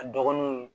A dɔgɔnunw